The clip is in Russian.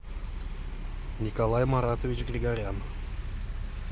николай маратович григорян